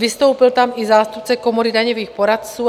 Vystoupil tam i zástupce Komory daňových poradců.